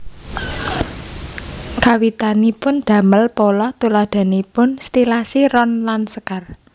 Kawitanipun damel pola tuladhanipun stilasi ron lan sekar